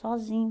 Sozinho.